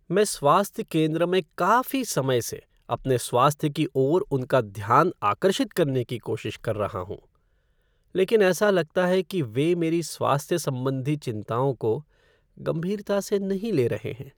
मैं स्वास्थ्य केंद्र में काफी समय से अपने स्वास्थ्य की ओर उनका ध्यान आकर्षित करने की कोशिश कर रहा हूँ लेकिन ऐसा लगता है कि वे मेरी स्वास्थ्य संबंधी चिंताओं को गंभीरता से नहीं ले रहे हैं।